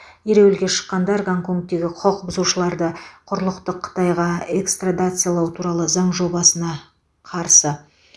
ереуілге шыққандар гонконгтегі құқық бұзушыларды құрлықтық қытайға экстрадациялау туралы заң жобасына қарсы